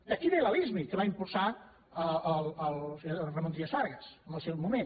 d’aquí ve la lismi que va impulsar el senyor ramon trias fargas en el seu moment